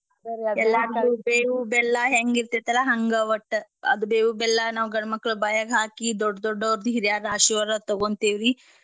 ಬೇವು ಬೆಲ್ಲಾ ಹೆಂಗ್ಯಿರ್ತೆತಲ್ಲಾ ಹಂಗ ಒಟ್ಟ ಅದ್ ಬೇವು ಬೆಲ್ಲಾ ನಾವ್ ಗಂಡ್ಮಕ್ಳ್ ಬಾಯ್ಯಾಗ ಹಾಕಿ ದೊಡ್ಡ ದೊಡ್ಡೊರ್ ಹಿರ್ಯ್ರ ಆಶೀರ್ವಾದ ತಗೋಂತೇವಿ.